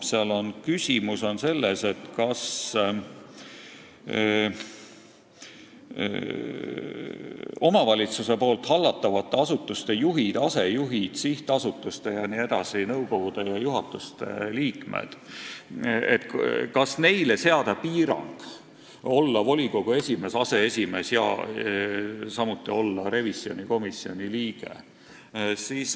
Seal on küsimus selles, kas omavalitsuse hallatavate asutuste juhtidele ja asejuhtidele, sihtasutuste jne nõukogude ja juhatuste liikmetele oleks vaja seada piirang, et nad ei saaks olla volikogu esimehed ega aseesimehed, samuti mitte revisjonikomisjoni liikmed.